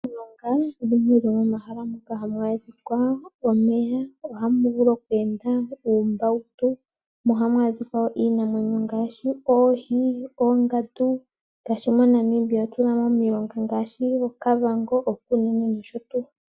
Momilonga odhindji dho momahala moka hamu adhika omeya, ohamu vulu oku enda uumbautu, mo ohamu adhika wo iinamwenyo ngaashi oohi, oongandu nosho tuu. Ngaashi moNamibia otuna mo omilonga ngaashi oKavango, oKunene nosho tuu.